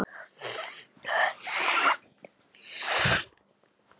Solveig Lára.